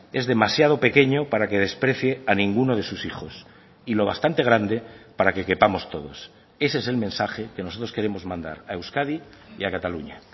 es demasiado pequeño para que desprecie a ninguno de sus hijos y lo bastante grande para que quepamos todos ese es el mensaje que nosotros queremos mandar a euskadi y a cataluña